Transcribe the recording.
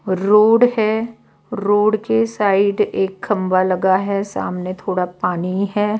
Road है road के side एक खंभा लगा है सामने थोड़ा पानी है।